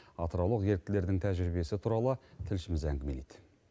атыраулық еріктілердің тәжірибесі туралы тілшіміз әңгімелейді